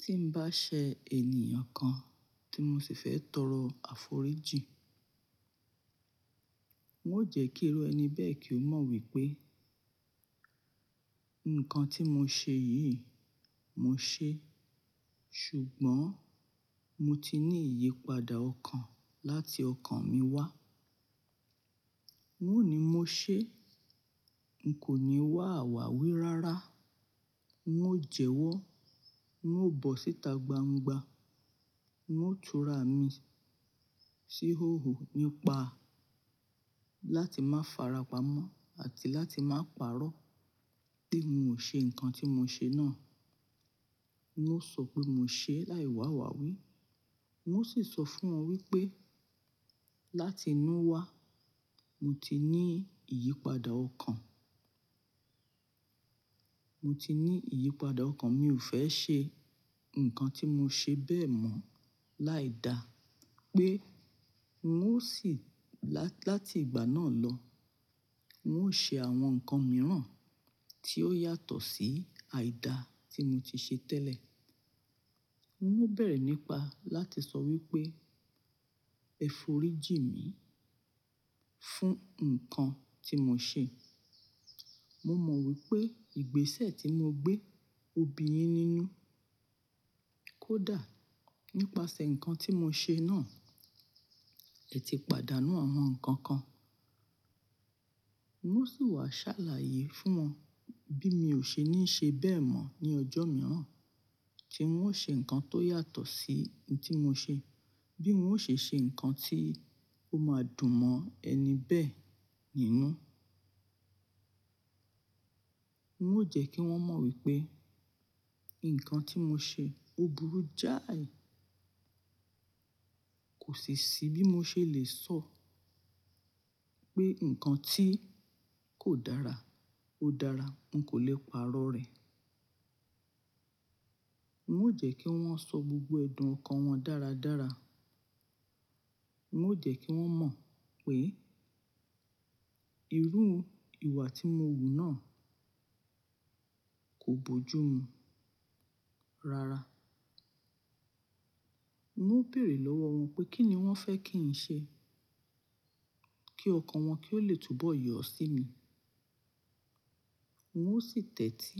Tí n bá ṣe ènìyàn kan tí mo sì fẹ́ tọrọ àforíjì, n ó jẹ́ kí irú ẹni bẹ́ẹ̀ kí ó mọ̀ wípé, ǹkan tí mo ṣe yìí, mo ṣe. Ṣùgbọ́n mo ti ní ìyípadà ọkàn láti ọkàn mi wá. N ó ní mo ṣe, n kò ní wà àwàwí rárá. N ó jẹwọ́, n ó bọ́ síta gbangba, n ó tura mi síhòhò nípa láti máa farapa mọ́ àti láti máa pàrọ̀ pé n ò ṣe ǹkan tí mo ṣe náà. N ó sọ pé mo ṣe láì wàwáwí. N ó sì sọ fún wọn wípé láti inú wa, mo ti ní ìyípadà ọkàn. Mo ti ní ìyípadà ọkàn mi ò fẹ́ ṣe ǹkan tí mo ṣe bẹ́ẹ̀ mọ́ láìda pé n ó sì lá-láti ìgbà náà lọ, n ó ṣe àwọn ǹkan mìíràn tí ó yàtọ̀ sí àìda tí mo ti ṣe tẹ́lẹ̀. N ó bẹ̀rẹ̀ nípa láti sọ wípé ẹ̀ foríjì mi fún ǹkan tí mo ṣe. Mo mọ̀ wípé ìgbésẹ̀ tí mo gbé òbí yẹn nínú kó dà nípasẹ̀ ǹkan tí mo ṣe náà. Ẹ ti pàdánù àwọn ǹkan kan. N ó sì wá ṣàlàyé fún wọn bí mi ò ṣe ní ṣe bẹ́ẹ̀ mọ́ ní ọjọ́ mìíràn tí n ó ṣe ǹkan tó yàtọ̀ sí ohun tí mo ṣe. Bí n ó ṣe ṣe ǹkan tí ó máa dùn mọ́ ẹni bẹ́ẹ̀ nínú. N ó jẹ́ kí wọ́n mọ̀ wípé ǹkan tí mo ṣe burú jáàí. Kò sì ṣì bí mo ṣe lè sọ pé ǹkan tí kò dára ó dára. N kò lè pàrọ̀ rẹ̀. N ó jẹ́ kí wọ́n sọ gbogbo ẹ̀dùn ọkàn wọn dáradára. N ó jẹ́ kí wọ́n mọ̀ wípé irú ìwà tí mo wù náà kò bojú mu rara. N ó béèrè lọ́wọ́ wọn pé kí ni wọ́n fẹ́ kí n ṣe kí ọkàn wọn kí ó lè túbọ̀ yọ̀ sí mi. N ó sì tẹ́tí